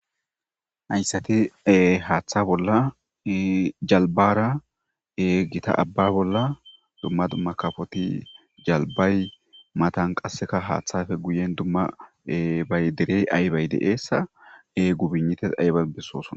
Hayssati haaththa bolla jalbara e gita abba bolla dumma dumma kafoti jalbay matan qasseka haaththafe guyen dumma ebay derey aybay de7eessa e gubinites ayban bessooson.